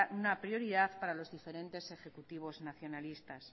una prioridad para los diferentes ejecutivos nacionalistas